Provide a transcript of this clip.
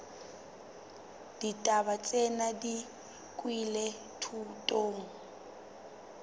ditaba tsena di nkilwe thutong